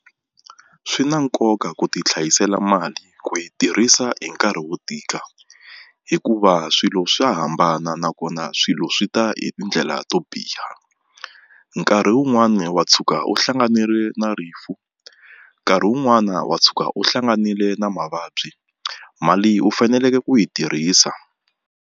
Swi na nkoka ku ti hlayisela mali ku yi tirhisa hi nkarhi wo tika hikuva swilo swa hambana nakona swilo swi ta hi tindlela to biha nkarhi wun'wani wa tshuka u hlanganile na rifu nkarhi wun'wani wa tshuka u hlanganile na mavabyi mali u faneleke ku yi tirhisa.